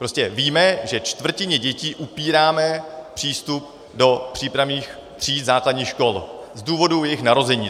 Prostě víme, že čtvrtině dětí upíráme přístup do přípravných tříd základních škol z důvodu jejich narození.